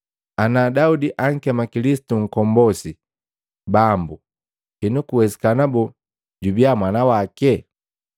Ana Daudi ankema Kilisitu Nkombosi ‘Bambu,’ henu kuwesikana boo jubiya mwana wake?”